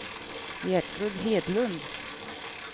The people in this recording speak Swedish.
Gertrud Hedlund